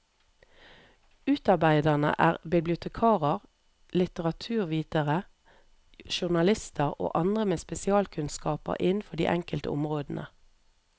Utarbeiderne er bibliotekarer, litteraturvitere, journalister og andre med spesialkunnskaper innenfor de enkelte områdene.